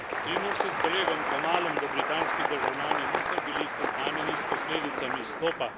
Strinjam se s kolegom Kamalom, da britanski državljani niso bili seznanjeni s posledicami izstopa.